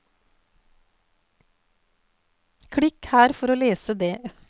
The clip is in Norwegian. Klikk her for å lese det.